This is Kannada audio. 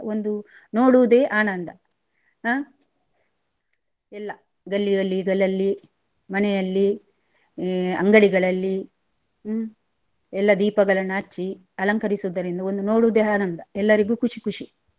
ಒಂದು ನೋಡುವುದೇ ಆನಂದ ಹ ಎಲ್ಲ ಗಲ್ಲಿ ಗಲ್ಲಿಗಳಲ್ಲಿ ಮನೆಯಲ್ಲಿ ಹ್ಮ್ ಅಂಗಡಿಗಳಲ್ಲಿ ಹ್ಮ್ ಎಲ್ಲ ದೀಪಗಳನ್ನ ಹಚ್ಚಿ ಅಲಂಕರಿಸುದರಿಂದ ಒಂದು ನೋಡುದೆ ಆನಂದ ಎಲ್ಲರಿಗು ಖುಷಿ ಖುಷಿ.